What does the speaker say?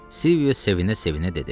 Silvio sevinə-sevinə dedi.